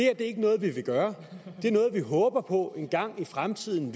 er ikke noget vi vil gøre det er noget vi håber på at vi engang i fremtiden